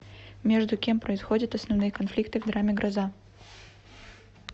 между кем происходят основные конфликты в драме гроза